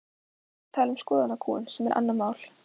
Þú ert að tala um skoðanakúgun sem er annað mál.